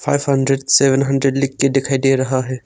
Five hundred seven hundred लिख के दिखाई दे रहा है।